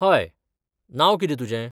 हय. नांव कितें तुजें?